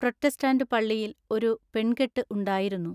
പ്രോത്തെസ്താന്തു പള്ളിയിൽ ഒരു പെൺകെട്ടു ഉണ്ടായിരുന്നു.